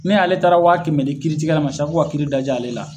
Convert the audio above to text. ale taara waa kɛmɛ di kiiritigɛla ma san ko ka kiiri daj'ale la.